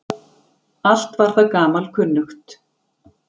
Allt var það gamalkunnugt.